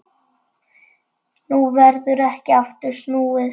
Nú verður ekki aftur snúið.